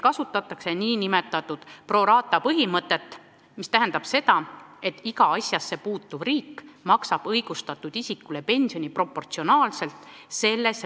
Kasutatakse nn pro rata põhimõtet, mis tähendab seda, et kumbki riik maksab õigustatud isikule pensioni proportsionaalselt riigis töötatud ajaga.